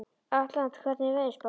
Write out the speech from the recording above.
Atlanta, hvernig er veðurspáin?